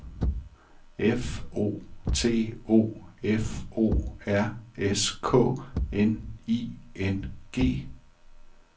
F O T O F O R S K N I N G